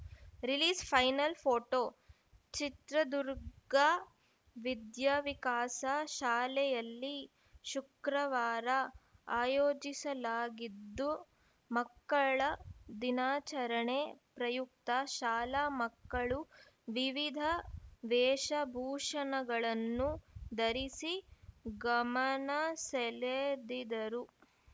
release final photo Chitradurga Vidyavikasa ಶಾಲೆಯಲ್ಲಿ ಶುಕ್ರವಾರ ಆಯೋಜಿಸಲಾಗಿದ್ದು ಮಕ್ಕಳ ದಿನಾಚರಣೆ ಪ್ರಯುಕ್ತ ಶಾಲಾ ಮಕ್ಕಳು ವಿವಿಧ ವೇಷ ಭೂಷಣಗಳನ್ನು ಧರಿಸಿ ಗಮನ ಸೆಳೆದಿದರು